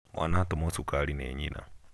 mwana atũmwo cukari nĩ nyina